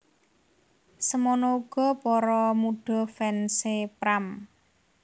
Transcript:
Semono uga para mudha fans é Pram